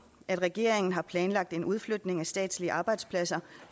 at regeringen har planlagt en udflytning af statslige arbejdspladser